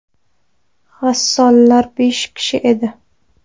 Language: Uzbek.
G‘assollar besh kishi edi.